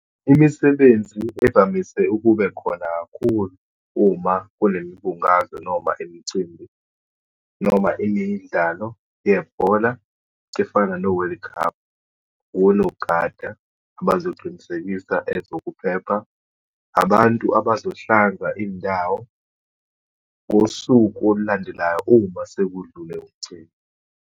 Imisebenzi evamise ukube khona kakhulu uma kunemibungazo, noma imicimbi, noma imidlalo yebhola efana no-World Cup, onogada abazoqinisekisa ezokuphepha, abantu abazohlanza indawo ngosuku olulandelayo uma sekudlule umcimbi.